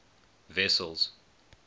wessels